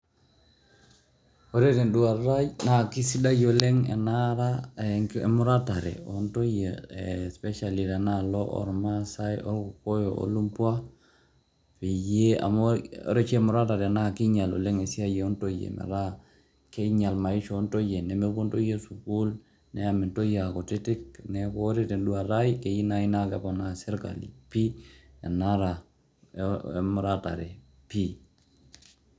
Ore tenduata ai naa kesidai oleng' enara emuratare o ntoyie especially tena alo ormaasai, orkokoyo o lumbwa peyie amu ore oshi emuratare naa kiinyal oleng' esia o ntoyie, metaa kinyal maisha o ntoyie, nemepuo ntoyie sukuul, neemi ntoyie aa kutitik. Neeku ore tenduata ai, keyeu nai naa keponaa sirkali pii enara emuratare pii.